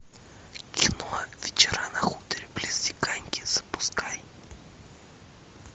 кино вечера на хуторе близ диканьки запускай